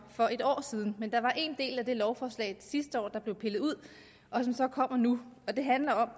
for et år siden men der var en del af det lovforslag sidste år der blev pillet ud og som så kommer nu og det handler om at